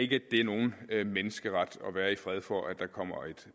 det er nogen menneskeret at være i fred for at der kommer et